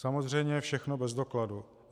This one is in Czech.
Samozřejmě všechno bez dokladů.